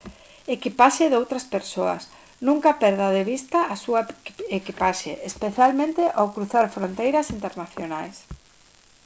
equipaxe doutras persoas nunca perda de vista a súa equipaxe especialmente ao cruzar fronteiras internacionais